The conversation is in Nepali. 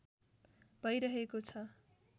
भैरहेको छ